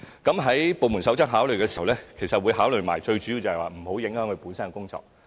在部門首長考慮時，最主要會一併考慮到，外間工作不能影響公務員本身的工作。